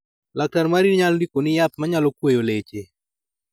Laktar mari nyalo ndiko ni yath manyalo kweyo leche.